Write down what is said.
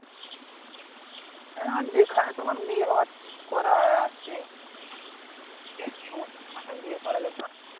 হ্যাঁ যেখানে তোমার বিয়ে হওয়ার ঠিক করা আছে ওখনে বিয়ে পড়াবে ব্যাপার।